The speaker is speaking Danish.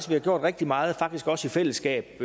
vi har gjort rigtig meget i fællesskab